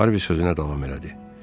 Harvi sözünə davam elədi.